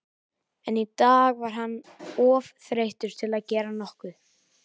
En í dag var hann of þreyttur til að gera nokkuð.